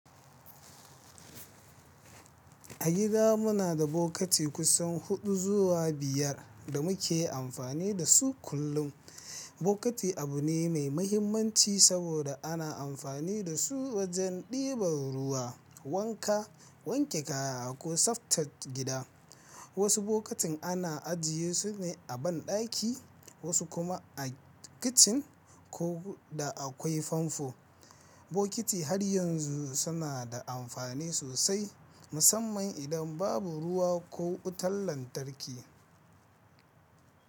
A gida muna da bokiti kusan huɗu zuwa biyar da muke amfani da su kullum. Bokiti abu ne mai mahimmanci saboda ana amfani da su wajen ɗiban ruwa, wanka, wanke kaya ko tsaftar gida. Wasu bokitin ana ajiye su ne a banɗaki, wasu kuma a kicin ko da akwai famfo. Bokiti har yanzu suna da amfani sosai, musamman idan babu ruwa ko wutar lantarki.